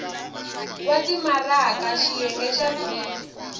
wa timaraka xiyenge xa b